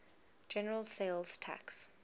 general sales tax